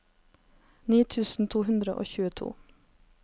ni tusen to hundre og tjueto